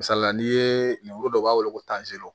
Misalila n'i ye lemuru dɔ b'a bolo ko